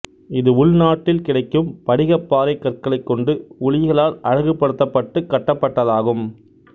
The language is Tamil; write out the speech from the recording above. இது உள்நாட்டில் கிடைக்கும் படிகப்பாறை கற்களைக் கொண்டு உளிகளால் அழகுபடுத்தப்பட்டு கட்டப்பட்டதாகும்